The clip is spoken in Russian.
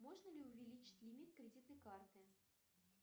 можно ли увеличить лимит кредитной карты